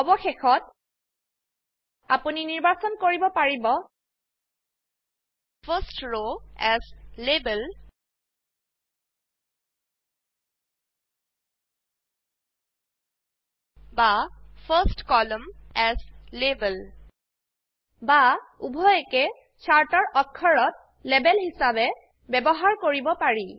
অবশেষত আপোনিনিৰ্বাচন কৰিব পাৰিব ফাৰ্ষ্ট ৰৱ এএছ লেবেল বা ফাৰ্ষ্ট কলামন এএছ লেবেল বা উভয়কেই চাৰ্টৰ অক্ষৰত লেবেল হিসাবে ব্যবহাৰ কৰিব পাৰি